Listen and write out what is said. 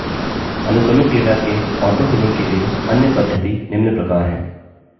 अनुक्रमिक data के autofilling के लिए अन्य पद्धति निम्न प्रकार है